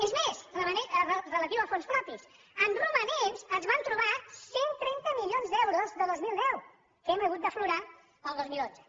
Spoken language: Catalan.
és més relatiu als fons propis en romanents ens vam trobar cent i trenta milions d’euros de dos mil deu que hem hagut d’aflorar el dos mil onze